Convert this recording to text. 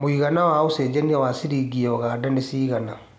mũigana wa ũcenjanĩa wa ciringi ya Uganda nĩ cigana